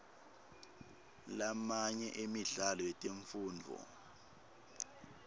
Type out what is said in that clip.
lamanye emidlalo yetemfundvo